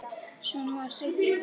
Svona var Siggi.